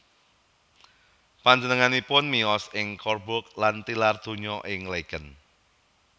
Panjenenganipun miyos ing Coburg lan tilar donya ing Laeken